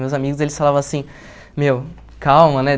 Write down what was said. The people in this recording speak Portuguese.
Meus amigos, eles falavam assim, meu, calma, né?